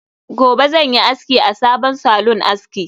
Gobe ​​zanyi aski a sabon salon aski